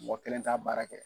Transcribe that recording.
Mɔgɔ kelen t'a baara kɛ.